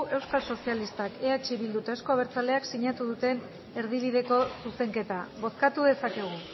euskal sozialistak eh bildu eta euzko abertzaleak sinatu duten erdibideko zuzenketa bozkatu dezakegu